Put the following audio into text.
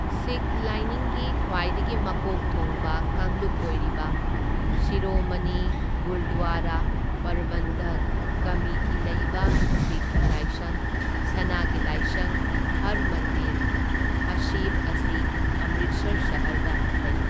ꯁꯤꯈ ꯂꯥꯏꯅꯤꯡꯒꯤ ꯈ꯭ꯋꯥꯏꯗꯒꯤ ꯃꯀꯣꯛ ꯊꯣꯡꯕ ꯀꯥꯡꯂꯨꯞ ꯑꯣꯏꯔꯤꯕ ꯁꯤꯔꯣꯃꯅꯤ ꯒꯨꯔꯗ꯭ꯋꯥꯔꯥ ꯄꯔꯕꯟꯙꯛ ꯀꯝꯃꯤꯇꯤ ꯂꯩꯕ ꯁꯤꯈꯀꯤ ꯂꯥꯏꯁꯪ, ꯁꯅꯥꯒꯤ ꯂꯥꯏꯁꯪ ꯍꯔꯃꯟꯗꯤꯔ ꯁꯥꯍꯤꯕ ꯑꯁꯤ ꯑꯝꯔꯤꯠꯁꯔ ꯁꯍꯔꯗ ꯂꯩ꯫